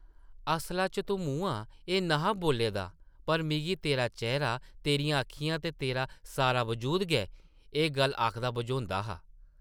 असला च तूं मुंहां एह् न’हा बोल्ले दा, पर मिगी तेरा चेह्रा, तेरियां अक्खियां ते तेरा सारा वजूद गै एह् गल्ल आखदा बझोंदा हा।